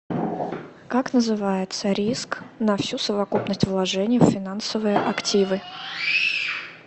как называется риск на всю совокупность вложений в финансовые активы